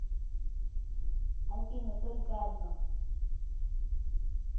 афина только одно